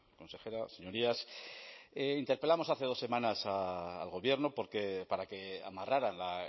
consejera señorías interpelamos hace dos semanas al gobierno para que amarrara la